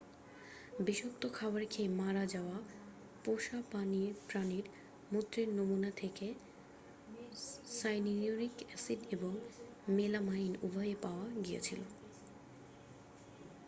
বিষাক্ত খাবার খেয়ে মারা যাওয়া পোষা প্রাণীর মূত্রের নমুনা থেকে সাইনিউরিক অ্যাসিড এবং মেলামাইন উভয়ই পাওয়া গিয়েছিল